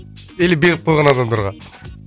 или беріп қойған адамдарға